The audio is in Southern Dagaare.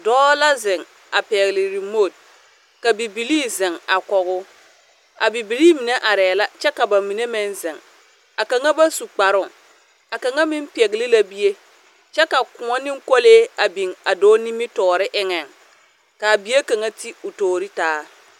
Dɔɔ la zeŋ a pɛgle oremot ka bibilii zeŋ a kɔge o, a bibilii mine arɛɛ la kyɛ ka ba mine meŋ zeŋ. A kaŋa ba su kparoŋ, a kaŋa meŋ pɛgle la bie, kyɛ ka kõɔ ne kolee a biŋ a dɔɔ nimitɔɔre eŋɛŋ, kaa bie kaŋa ti o toori taa.